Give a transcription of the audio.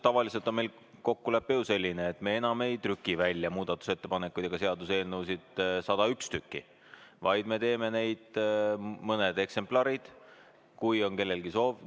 Tavaliselt on meil kokkulepe ju selline, et me enam ei trüki muudatusettepanekuid ega seaduseelnõusid 101 tükki välja, vaid me teeme neid mõned eksemplarid, juhuks kui kellelgi on soovi.